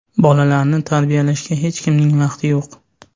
Bolalarni tarbiyalashga hech kimning vaqti yo‘q.